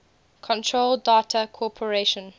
control data corporation